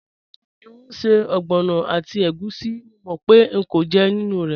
Juwọn n ṣẹ̀ ọgbọnọ àti ègùsí, mò mò pẹ̀ ń kọ̀ jẹ́ nínu rẹ́.